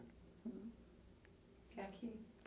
Que é aqui?